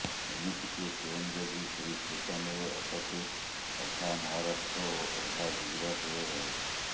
ଏମିତିକି ଟ୍ରେନ ଯଦି ସେହିଷ୍ଟେସନରେ ଅଟକେ ଅଧା ମହାରାଷ୍ଟ୍ର ଓ ଅଧା ଗୁଜରାଟରେ ରହେ